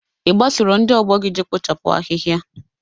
Ị gbasoro ndị ọgbọ gị je kpochapụ ahịhịa?